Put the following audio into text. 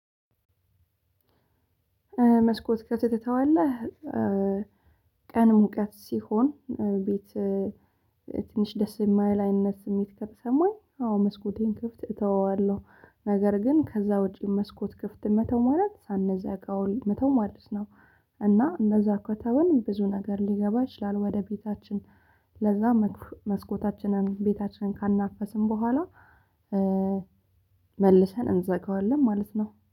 መስኮት ከፍተህ ትተዋለህ ቀን ሙቀት ሲሆን ቤት ትንሽ ደስ የማይል አይነት ስሜት ከተሰማኝ። አዎ መስኮቴን ክፍት እተወዋለሁ ነገር ግን ከዛ ውጪ መስኮት ክፍት መተው ማለት ሳንዘጋው መተው ማለት ነው። እና እንደዛ ከተውን ብዙ ነገር ሊገባ ይችላል ወደ ቤታችን። ለዛ መስኮታችንን ቤታችንን ካናፈስን በኋላ መልሰን እንዘጋዋለን ማለት ነው